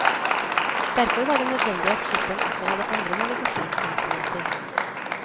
Derfor var det nødvendig at skipperen også hadde andre navigasjonsinstrumenter.